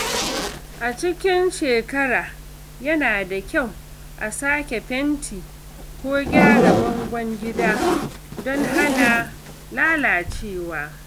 A cikin shekara, yana da kyau a sake fenti ko gyara bangon gida don hana lalacewa.